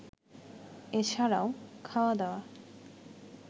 এছাড়াও, খাওয়া দাওয়া